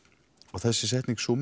og þessi setning